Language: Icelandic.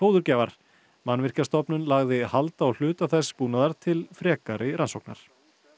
fóðurgjafar Mannvirkjastofnun lagði hald á hluta þess búnaðar til frekari rannsóknar